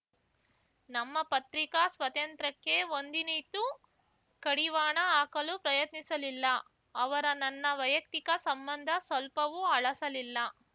ನಮ್ಮ ಪತ್ರಿಕಾ ಸ್ವತಂತ್ರ್ಯಕ್ಕೆ ಒಂದಿನಿತೂ ಕಡಿವಾಣ ಹಾಕಲು ಪ್ರಯತ್ನಿಸಲಿಲ್ಲ ಅವರ ನನ್ನ ವೈಯಕ್ತಿಕ ಸಂಬಂಧ ಸ್ವಲ್ಪವೂ ಹಳಸಲಿಲ್ಲ